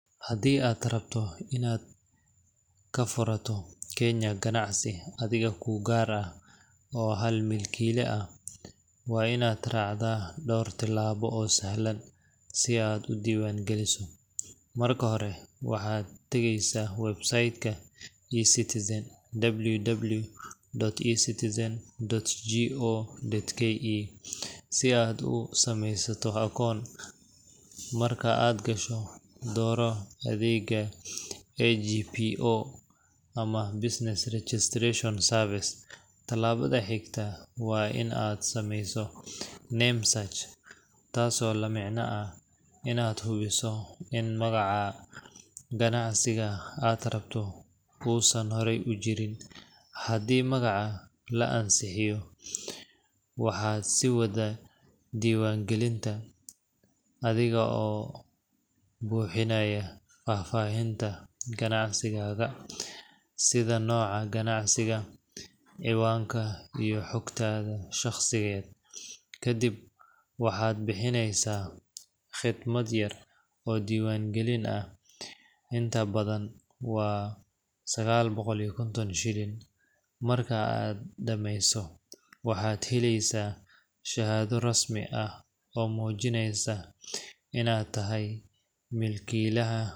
Hadii aad rabto in aad ganacsi ka furato kenya, ganacsi adhiga ku gar ah oo hal milkila ah waa in aad racdo dor tilabo oo sahlan, hadii aad rabto in aad kenya ganacsi ka furato adhiga ku gar ah oo hal milkila ah waa in aad racdha dor tilabo oo sahlan si aad u diwan galiso, marka hore waxaa tageysa Website ka e citizen www. e citizen.go.ke si aad u samesato akon, Marka aad gasho doro adhega agbo ama business registration curves tilabadha xikta waa in aad sameyso name search tas oo lamicna ah in aad huwiso in aa magaca ganacsiga aad rabto hore u usijirin, hadii magaca la ansixiyo waxaa si wadha diwan galinta adhiga oo buxinaya fafahinta ganacsigaga sitha noca ganacsigaa, ciwanka iyo xogta shaqsiyeed, kadiib waxaa bixineysa fidmaad yar oo diwan galin ah inta badan waa sagal boqol iyo konton shilin, marka dameyso waxaad heleysa shahadho rasmi ah oo mujineysa in aad tahay milkilaha.